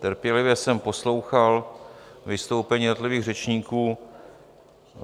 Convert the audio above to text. Trpělivě jsem poslouchal vystoupení jednotlivých řečníků.